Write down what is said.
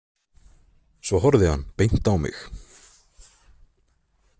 Svo horfði hann beint á mig.